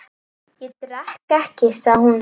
Ég drekk ekki, sagði hún.